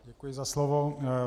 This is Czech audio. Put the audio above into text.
Děkuji za slovo.